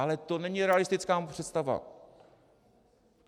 Ale to není realistická představa.